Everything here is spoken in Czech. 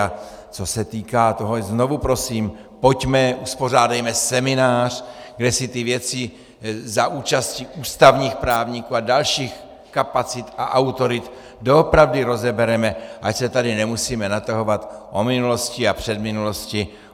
A co se týká toho, znovu prosím, pojďme, uspořádejme seminář, kde si ty věci za účasti ústavních právníků a dalších kapacit a autorit doopravdy rozebereme, ať se tady nemusíme natahovat o minulosti a předminulosti.